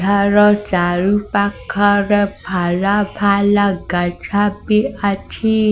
ଥାର ଚାରି ପାଖରେ ଫଲ ଫଲ ଗଛ ବି ଅଛି।